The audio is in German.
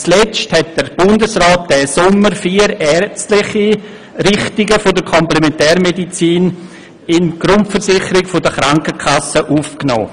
Zuletzt hat der Bundesrat diesen Sommer vier ärztliche Richtungen der Komplementärmedizin in die Grundversicherung der Krankenkassen aufgenommen.